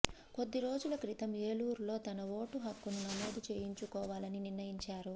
కొద్ది రోజుల క్రితం ఏలూరులో తన ఓటు హక్కును నమోదు చేయించుకోవాలని నిర్ణయించారు